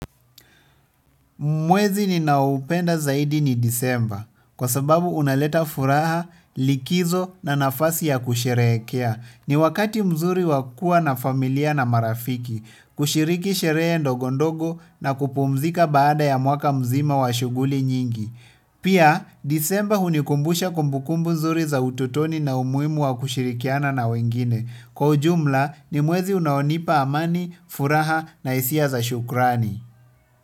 Mwezi ninaoupenda zaidi ni disemba kwa sababu unaleta furaha, likizo na nafasi ya kusherehekea. Ni wakati mzuri wakua na familia na marafiki, kushiriki sherehe ndogondogo na kupumzika baada ya mwaka mzima wa shughuli nyingi. Pia disemba hunikumbusha kumbukumbu zuri za ututoni na umuhimu wa kushirikiana na wengine. Kwa ujumla ni mwezi unaonipa amani, furaha na hisia za shukrani.